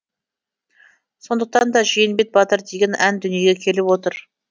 сондықтан да жиенбет батыр деген ән дүниеге келіп отыр